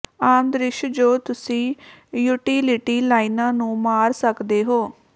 ਆਮ ਦ੍ਰਿਸ਼ ਜੋ ਤੁਸੀਂ ਯੂਟਿਲਿਟੀ ਲਾਈਨਾਂ ਨੂੰ ਮਾਰ ਸਕਦੇ ਹੋ